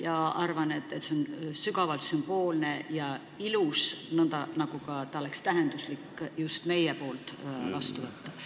Ma arvan, et see on sügavalt sümboolne ja ilus ettepanek, nagu oleks ka tähenduslik, kui just meie selle vastu võtaksime.